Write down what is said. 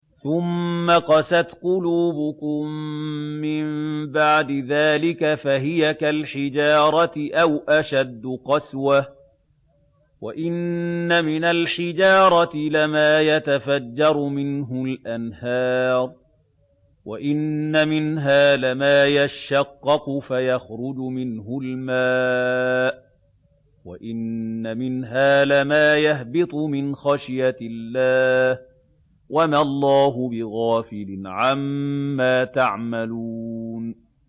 ثُمَّ قَسَتْ قُلُوبُكُم مِّن بَعْدِ ذَٰلِكَ فَهِيَ كَالْحِجَارَةِ أَوْ أَشَدُّ قَسْوَةً ۚ وَإِنَّ مِنَ الْحِجَارَةِ لَمَا يَتَفَجَّرُ مِنْهُ الْأَنْهَارُ ۚ وَإِنَّ مِنْهَا لَمَا يَشَّقَّقُ فَيَخْرُجُ مِنْهُ الْمَاءُ ۚ وَإِنَّ مِنْهَا لَمَا يَهْبِطُ مِنْ خَشْيَةِ اللَّهِ ۗ وَمَا اللَّهُ بِغَافِلٍ عَمَّا تَعْمَلُونَ